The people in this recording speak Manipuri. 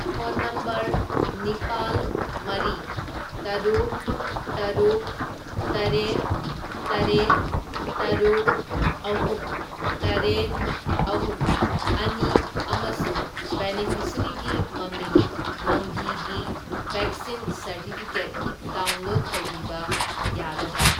ꯐꯣꯟ ꯅꯝꯕꯔ ꯅꯤꯄꯥꯜ, ꯃꯔꯤ, ꯇꯔꯨꯛ, ꯇꯔꯨꯛ, ꯇꯔꯦꯠ, ꯇꯔꯦꯠ, ꯇꯔꯨꯛ, ꯑꯍꯨꯝ, ꯇꯔꯦꯠ, ꯑꯍꯨꯝ, ꯑꯅꯤ ꯑꯃꯁꯨꯡ ꯕꯦꯅꯤꯐꯤꯁꯔꯤꯒꯤ ꯃꯃꯤꯡ ꯃꯪꯒꯤ ꯒꯤ ꯕꯦꯛꯁꯤꯟ ꯁꯔꯇꯤꯐꯤꯀꯦꯠ ꯗꯥꯎꯟꯂꯣꯗ ꯇꯧꯕꯤꯕ ꯌꯥꯒꯗ꯭ꯔꯥ?